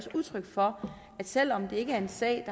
udtryk for at selv om det ikke er en sag